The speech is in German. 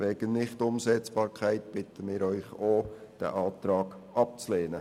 Wegen Nichtumsetzbarkeit bitten auch wir den Rat, diesen Antrag abzulehnen.